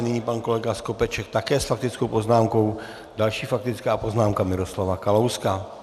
Nyní pan kolega Skopeček také s faktickou poznámkou, další, faktická poznámka Miroslava Kalouska.